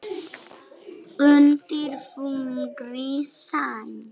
Undir þungri sæng